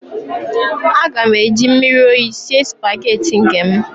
Aga m eji mmiri oyi sie spaghetti nke m